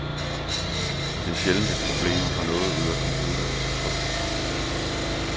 Det er sjældent et problem at få noget ud af computeren på tryk.